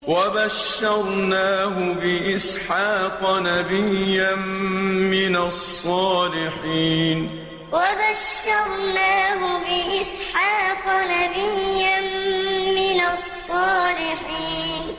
وَبَشَّرْنَاهُ بِإِسْحَاقَ نَبِيًّا مِّنَ الصَّالِحِينَ وَبَشَّرْنَاهُ بِإِسْحَاقَ نَبِيًّا مِّنَ الصَّالِحِينَ